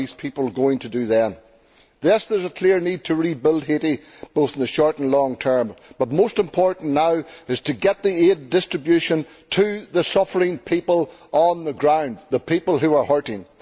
What are these people going to do then? Yes, there is a clear need to rebuild Haiti, both in the short and long term, but most important now is to get the aid distributed to the suffering people on the ground, the people who are hurting.